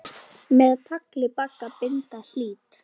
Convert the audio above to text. Með tagli bagga binda hlýt.